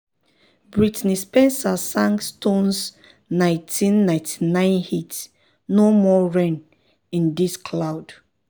brittney spencer sang stone's 1999 hit "no more rain (in this cloud)."